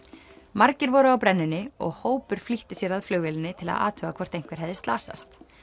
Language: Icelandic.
margir voru á brennunni og hópur flýtti sér að flugvélinni til að athuga hvort einhver hefði slasast